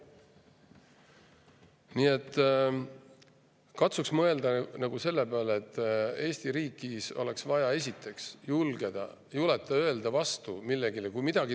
Nii et katsuks mõelda selle peale, et Eesti riigis oleks vaja, esiteks, julgust vastu.